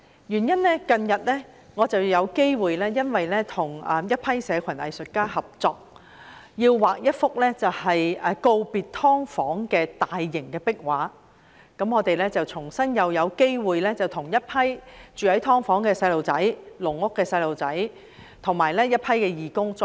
原因是我近日有機會跟一些社群藝術家合作畫一幅告別"劏房"的大型壁畫，我與一群義工再次有機會探訪很多居住在"劏房"及"籠屋"的住戶和小朋友。